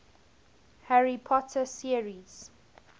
harry potter series